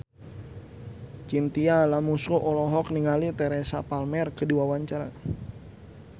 Chintya Lamusu olohok ningali Teresa Palmer keur diwawancara